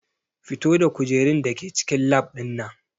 Fito da kujerun da ke cikin lab ɗin nan!